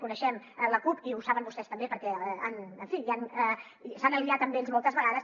coneixem la cup i ho saben vostès també perquè en fi s’han aliat amb ells moltes vegades